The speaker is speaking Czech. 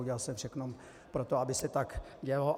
Udělal jsem všechno pro to, aby se tak dělo.